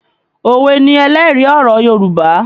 Òwe ni ẹlẹ́rìí ọ̀rọ̀ Yorùbá